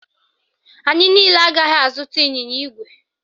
Anyị niile agaghị azụta ịnyịnya ígwè